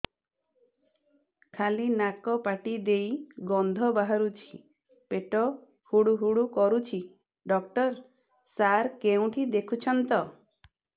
ଖାଲି ନାକ ପାଟି ଦେଇ ଗଂଧ ବାହାରୁଛି ପେଟ ହୁଡ଼ୁ ହୁଡ଼ୁ କରୁଛି ଡକ୍ଟର ସାର କେଉଁଠି ଦେଖୁଛନ୍ତ